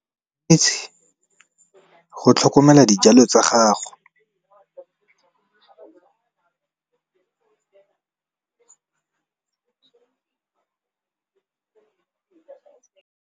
Go tlhokomela di jalo tsa gago.